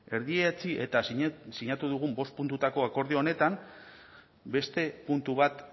erdietsi eta sinatu dugun bost puntutako akordio honetan beste puntu bat